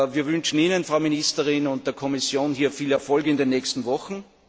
Wir wünschen Ihnen, Frau Ministerin, und der Kommission hier viel Erfolg in den nächsten Wochen!